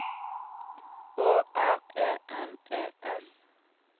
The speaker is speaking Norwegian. Å R E N E S